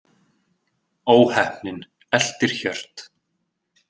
Óheppnin eltir Hjört